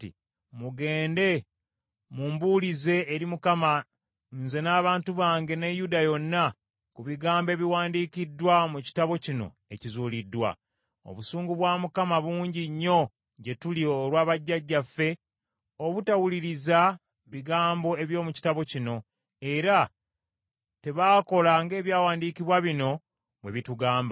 “Mugende mumbuulize eri Mukama , nze, n’abantu bange ne Yuda yonna ku bigambo ebiwandiikiddwa mu kitabo kino ekizuuliddwa. Obusungu bwa Mukama bungi nnyo gye tuli olwa bajjajjaffe obutawuliriza bigambo eby’omu kitabo kino, era tebaakola ng’ebyawandiikibwa bino bwe bitugamba.”